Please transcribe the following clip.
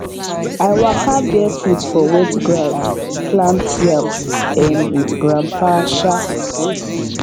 i waka barefoot for wet ground plant yam um with grandpa um